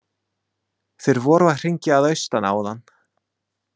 Þeir voru að hringja að austan áðan.